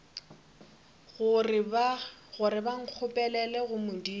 gore ba nkgopelele go modimo